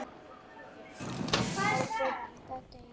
Á FIMMTA DEGI